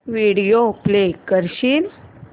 video play करशील